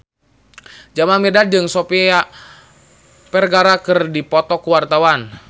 Jamal Mirdad jeung Sofia Vergara keur dipoto ku wartawan